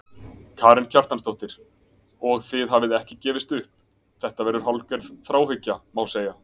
Karen Kjartansdóttir: Og þið gefist ekki upp, þetta verður hálfgerð þráhyggja, má segja?